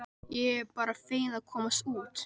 Ég er bara fegin að komast út!